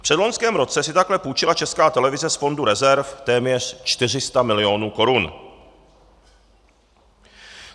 V předloňském roce si takhle půjčila Česká televize z fondu rezerv téměř 400 milionů korun.